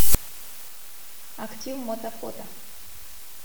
актив мото фото